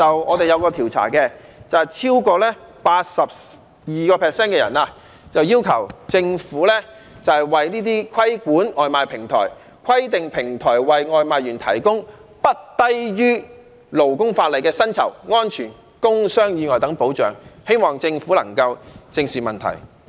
我們有一個調查，結果顯示超過 82% 的受訪者要求政府規管這些外賣平台，規定平台為外賣員提供不低於勞工法例的薪酬、安全及工傷意外等保障，希望政府能夠正視問題。